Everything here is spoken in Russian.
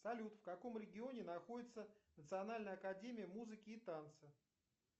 салют в каком регионе находится национальная академия музыки и танца